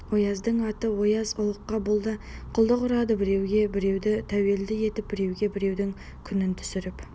ояздың аты ояз ұлыққа бұл да құлдық ұрады біреуге біреуді тәуелді етіп біреуге біреудің күнін түсіріп